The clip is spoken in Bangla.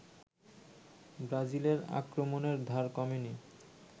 ব্রাজিলের আক্রমণের ধার কমেনি